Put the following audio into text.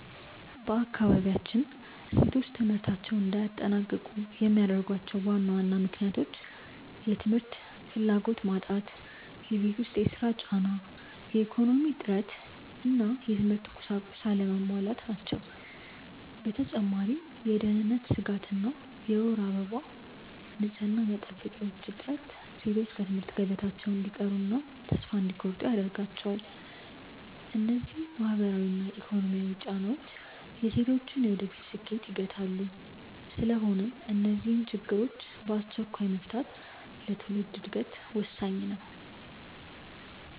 በአካባቢያችን ሴቶች ትምህርታቸውን እንዳያጠናቅቁ የሚያደርጓቸው ዋና ዋና ምክንያቶች፦ የ ትምህርት ፍላጎት መጣት የቤት ውስጥ ሥራ ጫና፣ የኢኮኖሚ እጥረት እና የትምህርት ቁሳቁስ አለመሟላት ናቸው። በተጨማሪም የደህንነት ስጋት እና የወር አበባ ንፅህና መጠበቂያዎች እጥረት ሴቶች ከትምህርት ገበታቸው እንዲቀሩና ተስፋ እንዲቆርጡ ያደርጋቸዋል። እነዚህ ማህበራዊና ኢኮኖሚያዊ ጫናዎች የሴቶችን የወደፊት ስኬት ይገታሉ። ስለሆነም እነዚህን ችግሮች በአስቸኳይ መፍታት ለትውልድ ዕድገት ወሳኝ ነው።